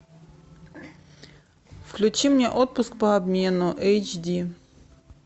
включи мне отпуск по обмену эйч ди